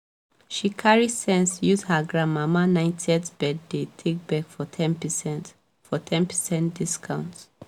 she carry sense use her granmama 90th birthday take beg for ten percent for ten percent discount